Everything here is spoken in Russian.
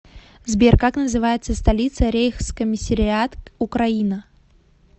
сбер как называется столица рейхскомиссариат украина